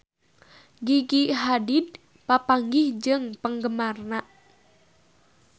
Gigi Hadid papanggih jeung penggemarna